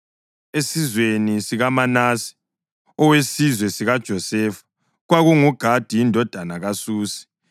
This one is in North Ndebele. esizweni sikaManase (owesizwe sikaJosefa), kwakunguGadi indodana kaSusi;